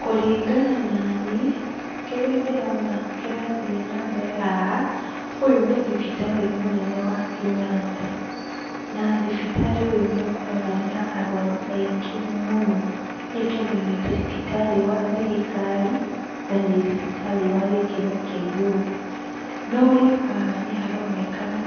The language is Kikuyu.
Kũringana naniĩ, kĩrĩa ndĩrona kĩrathiĩ nambere haha, ũyũ nĩ thibitarĩ mũnene wa Kenyatta, na thibitarĩ ũyũ nĩũkoragwo na arwaru aingĩ mũno nĩtondũ nĩ thibitarĩ wa thirikari na nĩ thibitarĩ wa gĩkĩro kĩa igũrũ. No rĩu haha nĩharonekana